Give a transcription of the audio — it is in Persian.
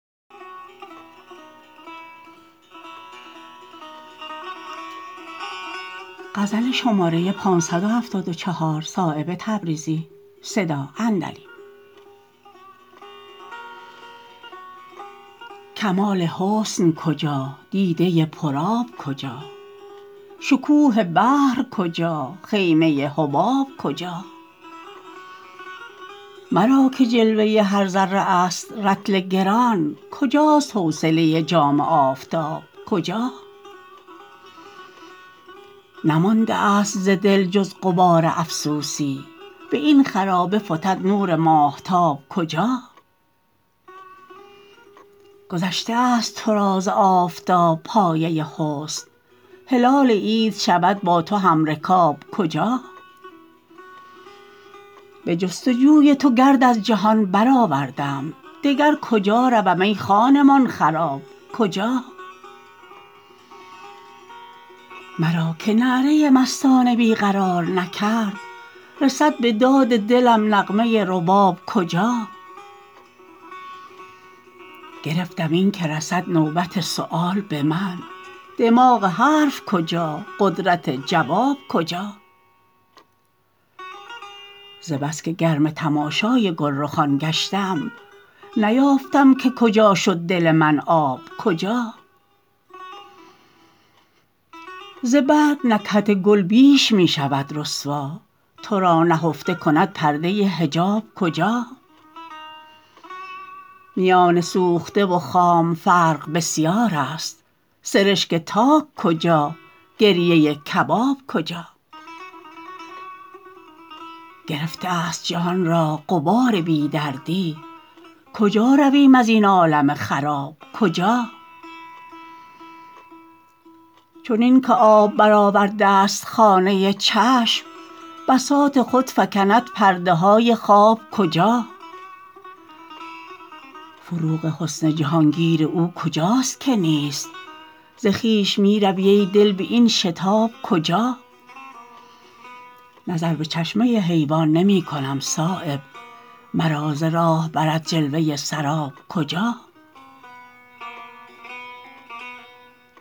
کمال حسن کجا دیده پر آب کجا شکوه بحر کجا خیمه حباب کجا مرا که جلوه هر ذره است رطل گران کجاست حوصله جام آفتاب کجا نمانده است ز دل جز غبار افسوسی به این خرابه فتد نور ماهتاب کجا گذشته است ترا ز آفتاب پایه حسن هلال عید شود با تو همرکاب کجا به جستجوی تو گرد از جهان برآوردم دگر کجا روم ای خانمان خراب کجا مرا که نعره مستانه بی قرار نکرد رسد به داد دلم نغمه رباب کجا گرفتم این که رسد نوبت سؤال به من دماغ حرف کجا قدرت جواب کجا ز بس که گرم تماشای گلرخان گشتم نیافتم که کجا شد دل من آب کجا ز برگ نکهت گل بیش می شود رسوا ترا نهفته کند پرده حجاب کجا میان سوخته و خام فرق بسیارست سرشک تاک کجا گریه کباب کجا گرفته است جهان را غبار بی دردی کجا رویم ازین عالم خراب کجا چنین که آب برآورده است خانه چشم بساط خود فکند پرده های خواب کجا فروغ حسن جهانگیر او کجاست که نیست ز خویش می روی ای دل به این شتاب کجا نظر به چشمه حیوان نمی کنم صایب مرا ز راه برد جلوه سراب کجا